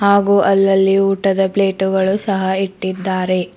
ಹಾಗು ಅಲ್ಲಲ್ಲಿ ಊಟದ ಪ್ಲೇಟ್ ಗಳು ಸಹ ಇಟ್ಟಿದ್ದಾರೆ.